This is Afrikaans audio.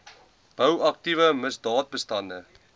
bou aktiewe misdaadbestande